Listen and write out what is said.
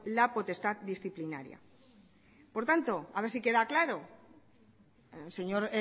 la potestad disciplinaria por tanto a ver si queda claro al señor